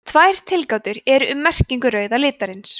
tvær tilgátur eru um merkingu rauða litarins